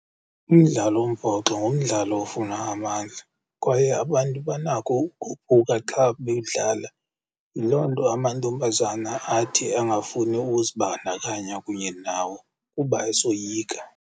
Umdlalo wombhoxo ngumdlalo ofuna amandla kwaye abantu banako ukophuka xa bewudlala. Yiloo nto amantombazana athi angafuni uzibandakanya kunye nawo kuba esoyika.